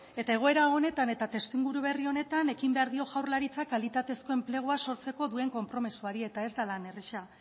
eta egoera honetan eta testuinguru berri honetan ekin behar dio jaurlaritzak kalitatezko enplegua sortzeko duen konpromisoari eta ez da lan erraza